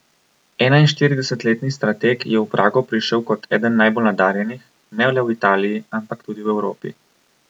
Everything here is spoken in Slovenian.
Enainštiridesetletni strateg je v Prago prišel kot eden najbolj nadarjenih, ne le v Italiji, ampak tudi v Evropi.